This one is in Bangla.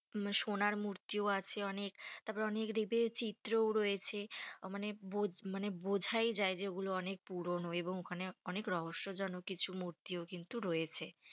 সোনার মূর্তিও আছে অনেক তার পরে অনেক দেখবে চিত্রও রয়েছে, মানে মানে বোঝাই যাই যে ওগুলোই অনেক পুরোনো এবং ওখানে অনেক রহস্য জনক কিছু মূর্তিও কিন্তু রয়েছে,